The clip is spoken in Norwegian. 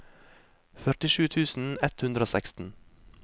førtisju tusen ett hundre og seksten